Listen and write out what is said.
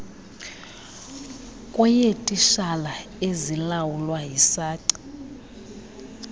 kweyeetitshala ezilawulwa yisace